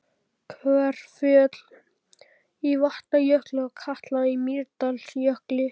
Kverkfjöll í Vatnajökli og Katla í Mýrdalsjökli.